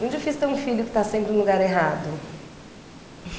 Muito difícil ter um filho que está sempre no lugar errado.